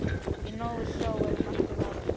Í návist sjávar er margt að varast.